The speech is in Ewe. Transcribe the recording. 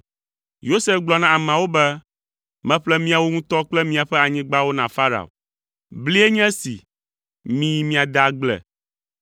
Yosef gblɔ na ameawo be, “Meƒle miawo ŋutɔ kple miaƒe anyigbawo na Farao. Blie nye esi, miyi miade agble.